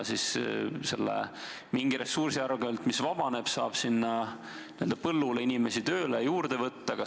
Kas selle ressursi arvel, mis vabaneb, saab n-ö põllule inimesi tööle juurde võtta?